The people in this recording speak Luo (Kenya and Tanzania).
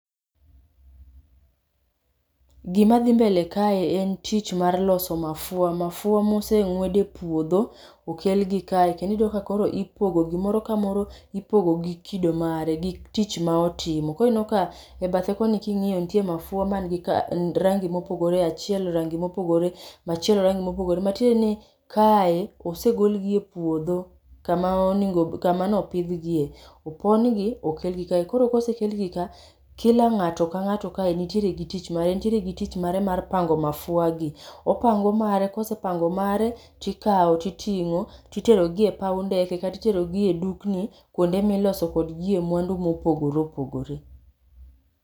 Gima dhi mbele kae, en tich mar loso mafua. Mafua moseng'wed ei puodho okelgi kae. Kendo iyudo ka koro ipogo gi. Moro ka moro ipogo gi kido mare, gi tich ma otimo. Koro ineno ka, e bathe koni kingíyo, nitie mafua manigi rangi mopogore, achiel rangi mopogore, machielo rangi mopogore. Matiende ni, kae, osegol gi e puodho, kama onego, kama ne opidhgie. Opongi, okelgi kae. Koro ka osekelgi ka, kila ngáto ka ngáto ka nitiere gi tich mare, nitiere gi tich mare mar pango mafuagi. Opango mare, kosepango mare tikawo, titingó, titerogi e pau ndeke, kata iterogi e dukni, kuonde miloso kodgi mwandu mopogore opogore.